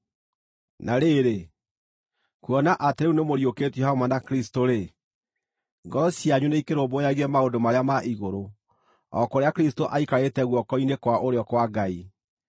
Na rĩrĩ, kuona atĩ rĩu nĩmũriũkĩtio hamwe na Kristũ-rĩ, ngoro cianyu nĩikĩrũmbũyagie maũndũ marĩa ma igũrũ, o kũrĩa Kristũ aikarĩte guoko-inĩ kwa ũrĩo kwa Ngai.